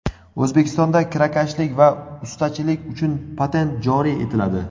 O‘zbekistonda kirakashlik va ustachilik uchun patent joriy etiladi.